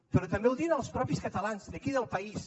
però també ho diuen els mateixos catalans d’aquí del país